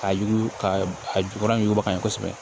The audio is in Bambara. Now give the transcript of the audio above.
Ka yugu ka a jukɔrɔ yuguba n ye kosɛbɛ